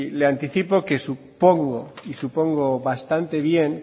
le anticipo que supongo y supongo bastante bien